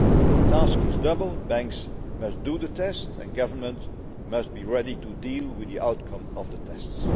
The task is double the banks must do the test and governments must be ready to deal with the outcome of the tests.